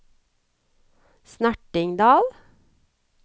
Snertingdal